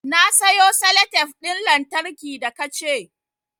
Na sayo salatef ɗin lantarki da ka ce